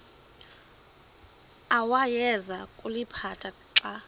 awayeza kuliphatha xa